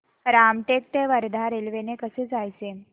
रामटेक ते वर्धा रेल्वे ने कसं जायचं